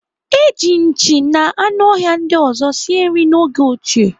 Eji nchi na anụ ọhịa ndị ọzọ sie nri n'oge ochie.